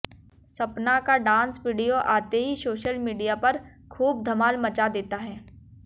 सपना का dance video आते ही सोशल मीडिया पर खूब धमाल मचा देता है